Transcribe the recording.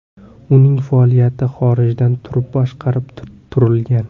Uning faoliyati xorijdan turib boshqarib turilgan.